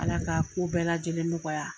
Ala ka ko bɛɛ lajɛlen nɔgɔya.